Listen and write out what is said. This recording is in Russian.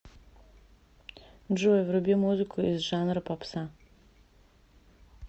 джой вруби музыку из жанра попса